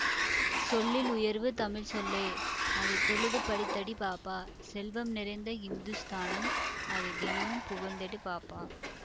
சொல்லில் உயர்வு தமிழ் சொல்லே அதை தொழுது படித்தடி பாப்பா செல்வம் நிறைந்த ஹிந்துஸ்தானம் அதை தினமும் புகழ்ந்திடடி பாப்பா